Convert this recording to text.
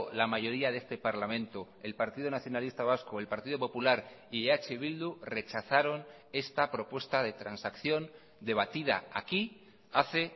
la mayoría de este parlamento el partido nacionalista vasco el partido popular y eh bildu rechazaron esta propuesta de transacción debatida aquí hace